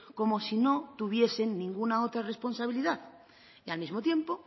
como si no tuviesen ninguna otra responsabilidad y al mismo tiempo